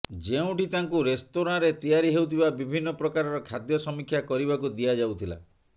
ଯେଉଁଠି ତାଙ୍କୁ ରେସ୍ତୋରାଁରେ ତିଆରି ହେଉଥିବା ବିଭିନ୍ନ ପ୍ରକାରର ଖାଦ୍ୟ ସମୀକ୍ଷା କରିବାକୁ ଦିଆ ଯାଉଥିଲା